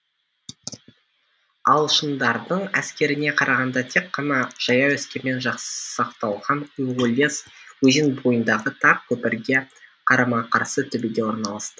ағылшындардың әскеріне қарағанда тек қана жаяу әскермен жасақталған уоллес өзен бойындағы тар көпірге қарама қарсы төбеде орналасты